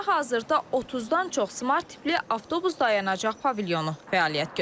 Bakıda hazırda 30-dan çox smart tipli avtobus dayanacaq pavilyonu fəaliyyət göstərir.